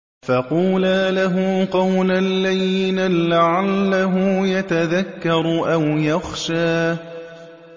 فَقُولَا لَهُ قَوْلًا لَّيِّنًا لَّعَلَّهُ يَتَذَكَّرُ أَوْ يَخْشَىٰ